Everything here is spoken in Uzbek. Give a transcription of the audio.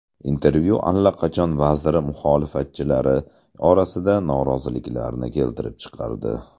Intervyu allaqachon vazir muxolifatchilari orasida noroziliklarni keltirib chiqardi.